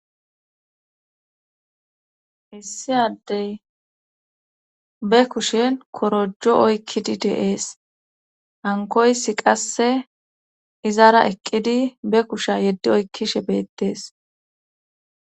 Hissi addey be kushen korojo oykkidi deees hankoysi qasse izaara eqqidi be kusha yeddi oykkishe beettees.